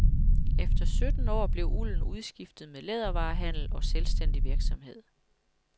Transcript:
Efter sytten år blev ulden udskiftet med lædervarehandel og selvstændig virksomhed.